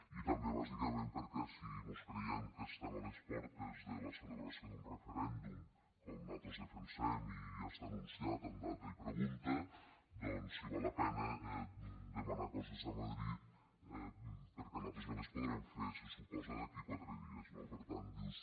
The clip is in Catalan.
i també bàsicament perquè si mos creiem que estem a les portes de la celebració d’un referèndum com nosaltres defensem i ja està anunciat amb data i pregunta doncs si val la pena demanar coses a madrid perquè nosaltres ja les podrem fer se suposa d’aquí a quatre dies no per tant dius